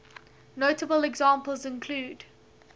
notable examples include